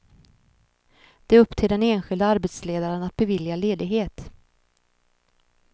Det är upp till den enskilde arbetsledaren att bevilja ledighet.